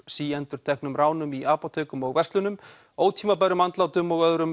síendurteknum ránum í apótekum og verslunum ótímabærum andlátum og öðrum